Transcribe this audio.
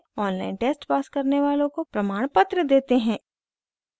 online test pass करने वालों को प्रमाणपत्र देते हैं